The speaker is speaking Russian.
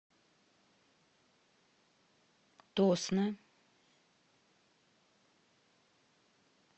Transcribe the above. тосно